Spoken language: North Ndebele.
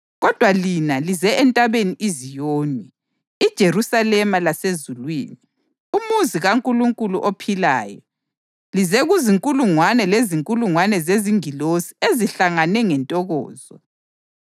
Kodwa lina lize eNtabeni iZiyoni, iJerusalema lasezulwini, umuzi kaNkulunkulu ophilayo. Lize kuzinkulungwane lezinkulungwane zezingilosi ezihlangane ngentokozo